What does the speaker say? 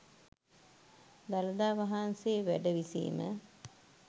දළදා වහන්සේ වැඩ විසීම